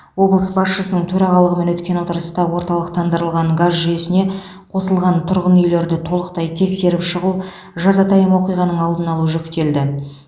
облыс басшысының төрағалығымен өткен отырыста орталықтандырылған газ жүйесіне қосылған тұрғын үйлерді толықтай тексеріп шығу жазатайым оқиғаның алдын алу жүктелді